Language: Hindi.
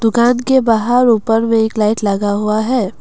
दुकान के बाहर ऊपर में एक लाइट लगा हुआ है।